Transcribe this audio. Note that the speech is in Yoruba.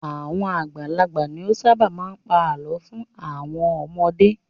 Àwọn àgbàlagbà ni ó ṣábà máa ń pa àlọ́ fún àwọn ọmọdé.